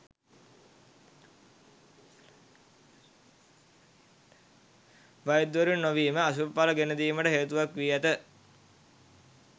වෛද්‍යවරුන් නොවීම අශුභඵල ගෙන දීමට හේතුවක් වී ඇත.